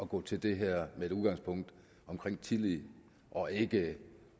gå til det her med udgangspunkt i tillid og ikke